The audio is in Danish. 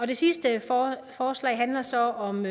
det sidste forslag handler så om